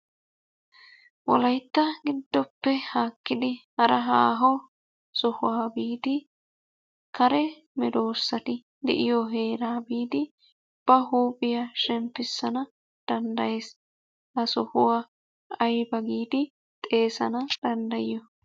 Wolaytta gidoppe haakkidi hara haaho sohuwa biidi kare medoossati de'iyo heeraa biidi ba huuphiya shemppissana danddayees. Ha sohuwa ayiba giidi xeesana danddayiyo?